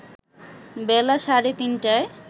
বেলা সাড়ে তিনটায়